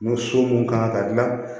N'o so mun ka kan ka dilan